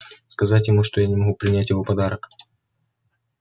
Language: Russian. сказать ему что я не могу принять его подарок